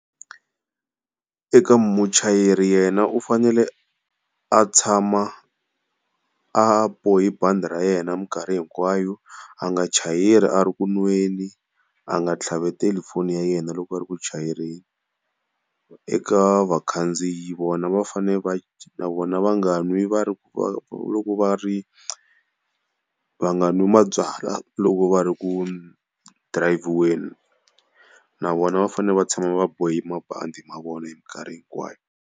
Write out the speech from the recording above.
Eka muchayeri yena u fanele a tshama a bohi bandi ra yena mikarhi hinkwayo, a nga chayeli a ri ku nweni, a nga tlhaveteli foni ya yena loko a ri ku chayeleni. Eka vakhandziyi vona va fane va na vona va nga n'wi va ri loko va ri va nga nwi mabyala loko va ri ku dirhayivhiweni. Na vona va fanele va tshama va bohe mabandi ma vona hi mikarhi hinkwayo.